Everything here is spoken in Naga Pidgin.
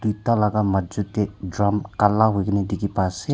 Itha laga majud dae drum kala hoikena dekhe pa ase.